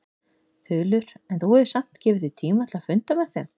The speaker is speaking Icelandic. Þulur: En þú hefur samt gefið þér tíma til að funda með þeim?